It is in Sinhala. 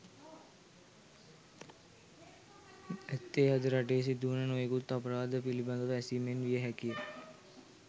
ඇත්තේ අද රටේ සිදුවන නොයෙකුත් අපරාධ පිළිබඳව ඇසීමෙන් විය හැකිය.